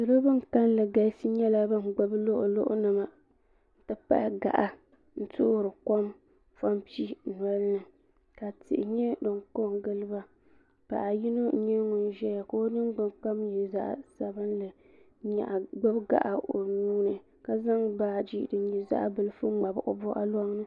Salo ban kalli galisi nyɛla ban gbibi luɣuluɣu nima n ti pahi gaɣa n toori kom pobli nolini ka tihi nyɛ din kongili ba paɣa yini n nyɛ ŋun ʒɛya ka o ningbin kom nyɛ zaɣa sabinli n gbibi gaɣa o nuuni ka zaŋ baaji din nyɛ zaɣa bilifu ŋmabi o boɣu loŋni.